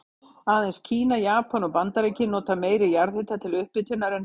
Aðeins Kína, Japan og Bandaríkin nota meiri jarðhita til upphitunar en við Íslendingar.